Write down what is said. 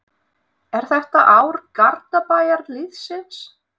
Er þetta ár Garðabæjarliðsins?